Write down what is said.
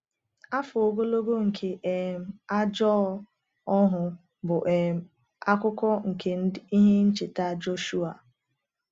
Afọ ogologo nke um ajọ ohu bụ um akụkụ nke ihe ncheta Joshua.